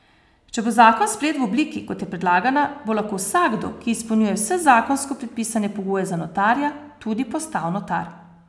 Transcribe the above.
Če bo zakon sprejet v obliki, kot je predlagana, bo lahko vsakdo, ki izpolnjuje vse zakonsko predpisane pogoje za notarja, tudi postal notar.